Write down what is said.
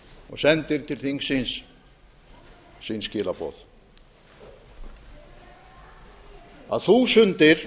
og sendir til þingsins sín skilaboð að þúsundir